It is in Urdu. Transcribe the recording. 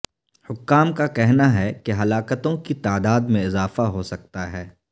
حکام کا کہنا ہے کہ ہلاکتوں کی تعداد میں اضافہ ہو سکتا ہے